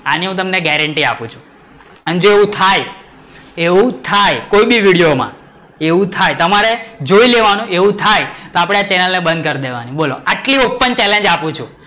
એની હું તમને ગેરંટી આપું છું. અને જો એવું થાય, એવું થાય કોઈ બી વિડિઓ માં એવું થાય તમારે જોઈ લેવાનું એવું થાય તો આપડે ચેનલ ને બંધ કરી દેવાની, બોલો આટલી ઓપન challenge આપું છું